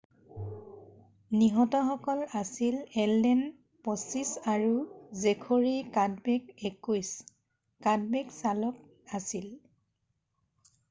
নিহতসকল আছিল এলডেন 25 আৰু Zachary Cadbeck 21 Cadbeck চালক আছিল